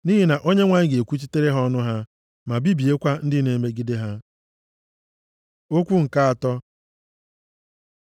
Nʼihi na Onyenwe anyị ga-ekwuchitere ha ọnụ ha ma bibiekwa ndị na-emegide ha. Okwu nke atọ